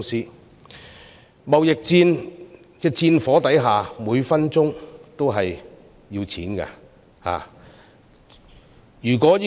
在貿易戰的戰火之下，每分鐘都要錢。